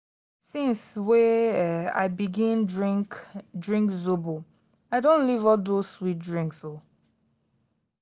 since wey um i begin drink drink zobo i don leave all dose sweet drinks. um